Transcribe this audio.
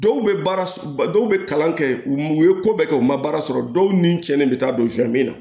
Dɔw bɛ baara dɔw bɛ kalan kɛ u ye ko bɛɛ kɛ u ma baara sɔrɔ dɔw ni ce bɛ taa don fɛn min na